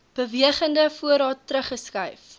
bewegende voorraad teruggeskryf